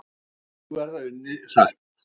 Nú verði unnið hratt